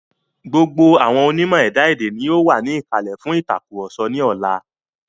Gbogbo àwọn onímọ̀ ẹ̀dá èdè ni yóò wà ní ìkàlẹ̀ fún ìtàkurọ̀sọ ní ọlá.